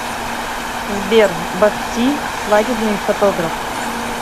сбер бах ти свадебный фотограф